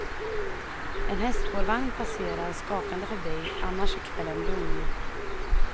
En hästspårvagn passerar skakande förbi, annars är kvällen lugn.